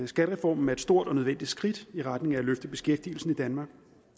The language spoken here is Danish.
skattereformen er et stort og nødvendigt skridt i retning af at løfte beskæftigelsen i danmark